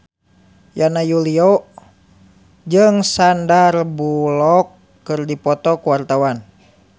Yana Julio jeung Sandar Bullock keur dipoto ku wartawan